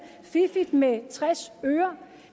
fiffigt med tres øre